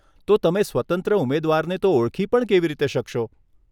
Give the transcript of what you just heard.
તો તમે સ્વતંત્ર ઉમેદવારને તો ઓળખી પણ કેવી રીતે શકશો?